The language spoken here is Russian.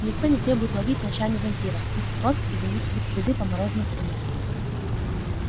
никто не требует ловить ночами вампиров пить кровь и вынюхивать следы по морозным улицам